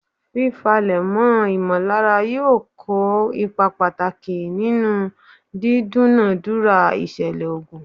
Fifálẹ̀mọ́ ìmọ̀lára yóò kó ipa pàtàkì nihnú dídúnàádúrà ìṣẹ̀lè ogun.